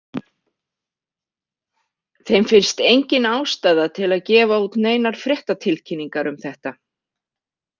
Þeim finnst engin ástæða til að gefa út neinar fréttatilkynningar um þetta.